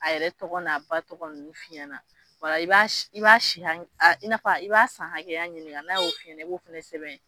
A yɛrɛ tɔgɔ n'a ba tɔgɔ ninnu f'i ɲɛna o la i b'a i b'a si i n'a fɔ i b'a san hakɛya ɲininka n'a y'o f'i ɲɛna i b'o fana sɛbɛn